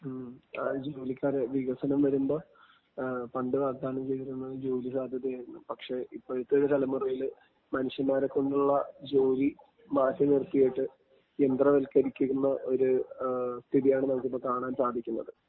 ആ ജോലിക്കാരെ. വികസനം വരുമ്പോ പണ്ട് വാഗ്ദാനം ചെയ്തിരുന്നത് ജോലിസാധ്യതയായിരുന്നു. പക്ഷെ ഇപ്പഴത്തെ തലമുറയില് മനുഷ്യന്മാരെ കൊണ്ടുള്ള ജോലി മാറ്റിനിർത്തിയിട്ട് യന്ത്രവൽക്കരിക്കുന്ന ഒരു സ്ഥിതിയാണ് നമുക്കിപ്പൊ കാണാൻ സാധിക്കുന്നത്.